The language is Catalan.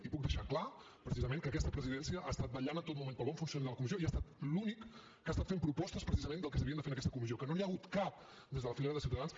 i puc deixar clar precisament que aquesta presidència ha estat vetllant en tot moment pel bon funcionament de la comissió i ha estat l’únic que ha estat fent propostes precisament del que s’havia de fer en aquesta comissió que no n’hi ha hagut cap des de la filera de ciutadans